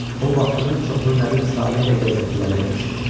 O vaxtının çoxunu Nədim Salehlə gəzintilərdə keçirirdi.